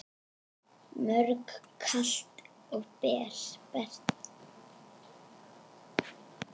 Mjög kalt og bert.